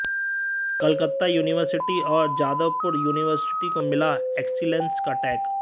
Calcutta university और Jadavpur university को मिला एक्सीलैंस का टैग